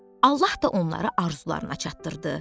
Allah da onlara arzularına çatdırdı.